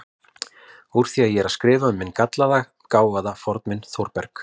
Úr því ég er að skrifa um minn gallaða, gáfaða fornvin Þórberg